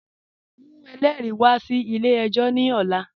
Mu ẹlẹri wà sí ilẹ̀-ẹ̀jọ ni ọ̀là